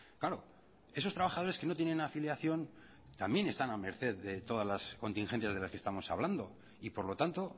claro esos trabajadores que no tienen afiliación también están a merced de todas las contingencias de las que estamos hablando y por lo tanto